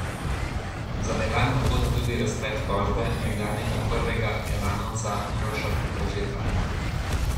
Za Elan je ugoden tudi razplet tožbe nekdanjega prvega elanovca Uroša Koržeta.